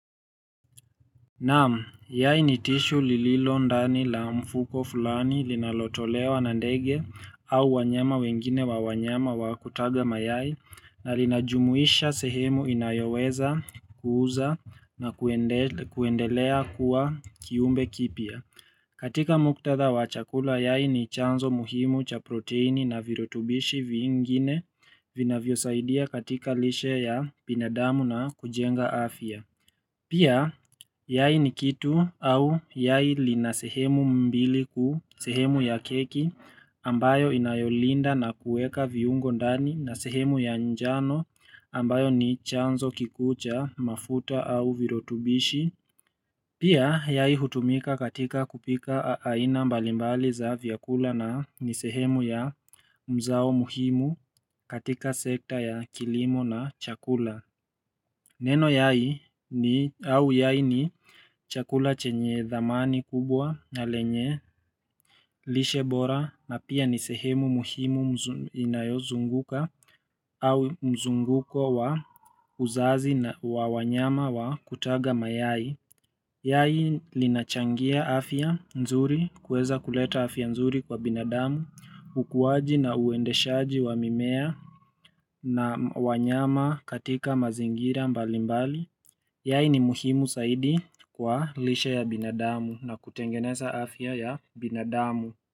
Naam, yai ni tissue lililo ndani la mfuko fulani linalotolewa na ndege au wanyama wengine wa wanyama wa kutaga mayai na linajumuisha sehemu inayoweza kuuza na kuendelea kuwa kiumbe kipya. Katika muktadha wa chakula yai ni chanzo muhimu cha proteini na virutubishi vingine vinavyosaidia katika lishe ya binadamu na kujenga afya. Pia, yai ni kitu au yai lina sehemu mbili kuu sehemu ya keki ambayo inayolinda na kueka viungo ndani na sehemu ya njano ambayo ni chanzo kikuu cha mafuta au virutubishi. Pia, yai hutumika katika kupika aina mbalimbali za vyakula na ni sehemu ya mzao muhimu katika sekta ya kilimo na chakula. Neno yai au yai ni chakula chenye dhamani kubwa na lenye, lishe bora na pia ni sehemu muhimu inayozunguka au mzunguko wa uzazi na wanyama wa kutaga mayai. Yai linachangia afya nzuri kuweza kuleta afya nzuri kwa binadamu, ukuwaji na uendeshaji wa mimea na wanyama katika mazingira mbalimbali. Yai ni muhimu zaidi kwa lishe ya binadamu na kutengeneza afya ya binadamu.